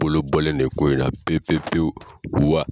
Bolobɔlen de ye ko in na pewu pewu pewu.